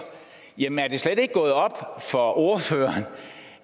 jamen er det slet ikke gået op for ordføreren